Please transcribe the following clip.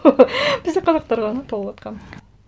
бізде қазақтар ғана толыватқан